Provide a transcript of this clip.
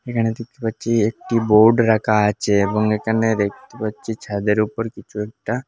এখানে দেখতে পাচ্ছি একটি বোর্ড রাখা আছে এবং এখানে দেখতে পাচ্ছি ছাদের ওপর কিছু একটা--